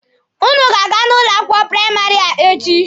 Ụnụ ga-aga n'ụlọ akwụkwọ praịmarị a echi.